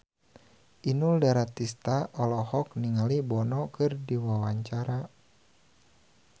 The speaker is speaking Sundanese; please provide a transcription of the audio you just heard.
Inul Daratista olohok ningali Bono keur diwawancara